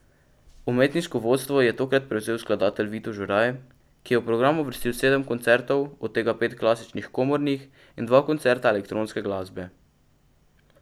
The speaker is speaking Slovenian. Umetniško vodstvo je tokrat prevzel skladatelj Vito Žuraj, ki je v program uvrstil sedem koncertov, od tega pet klasičnih komornih in dva koncerta elektronske glasbe.